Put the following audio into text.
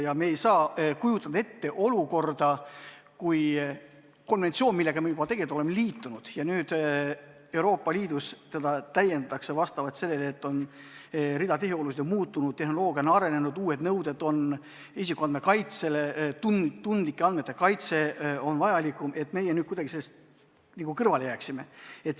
Ja pole ju võimalik kujutada ette olukorda, kus konventsiooni, millega me juba tegelikult oleme liitunud, Euroopa Liidus täiendatakse, kuna rida tehiolusid on muutunud, tehnoloogia on arenenud, uued nõuded on isikuandmete kaitsele, tundlike andmete kaitse on vajalikum, meie sellest nagu kõrvale jääme.